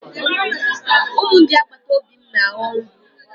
Ụmụ ndị agbataobi m na-ahọ nri.